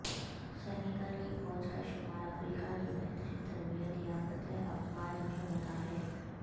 Senegal کی فوج کا شمار افریقہ کی بہترین تربیت یافتہ افواج میں ہوتا ہے